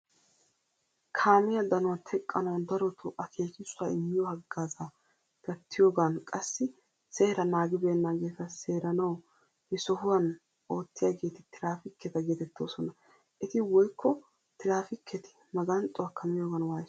Kaamiyaa danuwaa teqqanawu daroto akekisuwaa immiyo haggaazza gattiyogan qassi seeraa naagibenagetta seeranawu he sohuwan oottiyagetti tirafikketta geetetoosona. Etti woykko tirafiketi maganxxuwakka miyogan waysoosona.